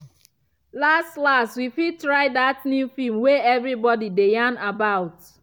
last last we fit try that new film way everybody dey yan about.